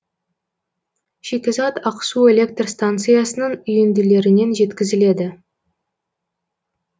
шикізат ақсу электр станциясының үйінділерінен жеткізіледі